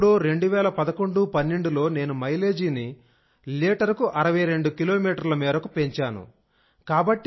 ఎప్పుడో 201112లో నేను మైలేజీని లీటరుకు 62 కిలోమీటర్ల మేరకు పెంచాను